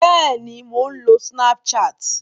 Bẹ́ẹ̀ni, mò ń lo snapchat